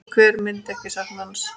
Hver myndi ekki sakna hans?